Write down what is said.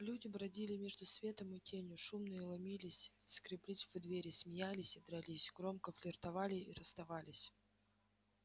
люди бродили между светом и тенью шумные ломились и скреблись в двери смеялись и дрались громко флиртовали и расставались